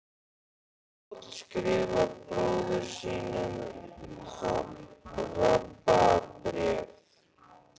Páll skrifar bróður sínum Rabba bréf.